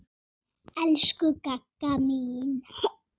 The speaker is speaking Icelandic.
Elsku Gagga mín.